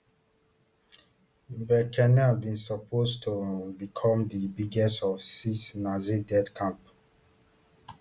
birkenau bin suppose to um become di biggest of six nazi death camps